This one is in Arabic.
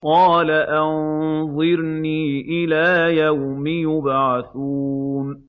قَالَ أَنظِرْنِي إِلَىٰ يَوْمِ يُبْعَثُونَ